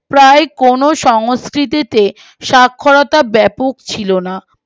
প্রায় কোনো সংস্কৃতিতে সাক্ষরতার ব্যাপক ছিল না